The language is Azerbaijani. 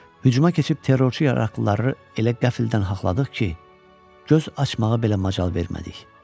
Hücuma keçib terrorçu yaraqlıları elə qəfildən haqladıq ki, göz açmağa belə macal vermədik.